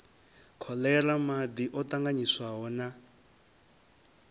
kholera madi o tanganyiswaho na